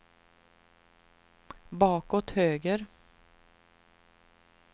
bakåt höger